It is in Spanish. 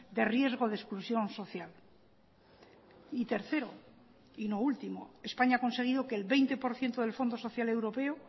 de riesgo de exclusión social y tercero y no último españa ha conseguido que el veinte por ciento del fondo social europeo